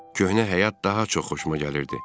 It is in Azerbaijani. Köhnə həyat daha çox xoşuma gəlirdi.